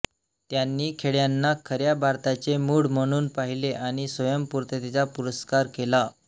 त्यांनी खेड्यांना खऱ्या भारताचे मूळ म्हणून पाहिले आणि स्वयंपूर्णतेचा पुरस्कार केला